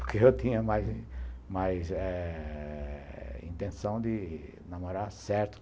Porque eu tinha mais mais eh intenção de namorar certo.